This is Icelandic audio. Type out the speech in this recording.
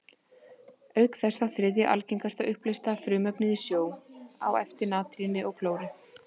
Auk þess er það þriðja algengasta uppleysta frumefnið í sjó, á eftir natríni og klóri.